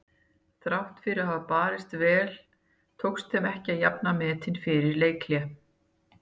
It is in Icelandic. Þrátt fyrir að hafa barist vel tókst þeim því ekki að jafna metin fyrir leikhlé.